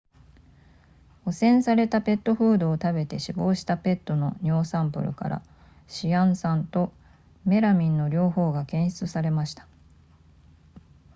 汚染されたペットフードを食べて死亡したペットの尿サンプルからシアン酸とメラミンの両方が検出されました